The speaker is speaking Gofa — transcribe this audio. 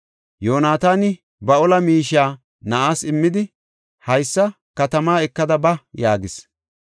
Yoonataani ba ola miishiya na7aas immidi, “Haysa katama ekada ba” yaagis.